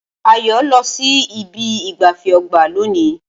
Ayo lọ sí ibi ìgbafẹ́ ọgbà lónìí